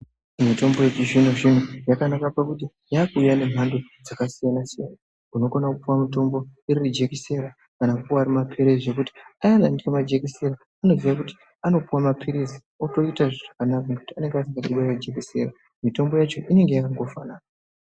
Mitombo dzechizvino zvino dzakanakira kuti dzakuuya nemhando dzakasiyana-siyana. Unokona kupuwa mutombo iri jekiseni kana kupuwa mutombo ari mapirizi nekuti asingadi jekiseni anopuwa mapirizi nekuti anenge asingadi jekiseni mitombo yacho inenge yakangofanana.